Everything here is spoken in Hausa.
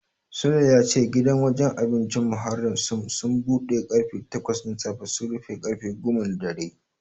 Sule ya ce gidan wajen abincin Mukarramah Suns budewa karfe takwas na safe su rufe karfe goma na dare.